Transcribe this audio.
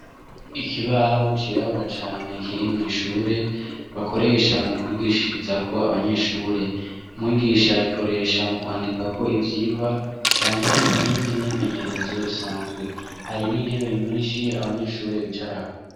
Ikibaho cirabura cane kiri mw'ishure bakoresha mu kwigishirizako abanyeshure. Umwigisha agikoresha mu kwandikako ivyigwa canke iyindi myimenyerezo isanzwe, hari n'intebe nyinshi abanyeshure bicarako.